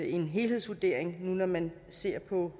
en helhedsvurdering når man ser på